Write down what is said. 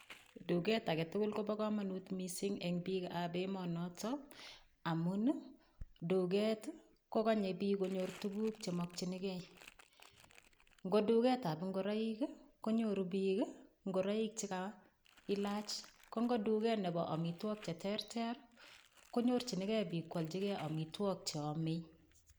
Duket age tugul kobo komonut mising' eng' biikab emonoto amun duket kokonyei biik konyorchigei tukuk chemokchinigei ngo duketab ngoroik konyoru biik ngoroik chikailach ko ngo duket nebo omitwok cheterter konyorchinigei biik kwolchigei omitwok cheomei